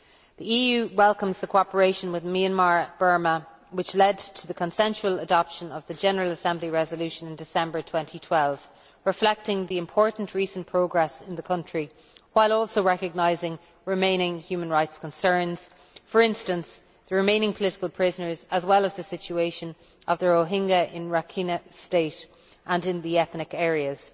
The EU welcomes the cooperation with Myanmar Burma which led to the consensual adoption of a General Assembly resolution in December 2012, reflecting the important recent progress in the country while also recognising remaining human rights concerns, for instance the remaining political prisoners as well as the situation of the Rohinga in Rakhine State and in the ethnic areas.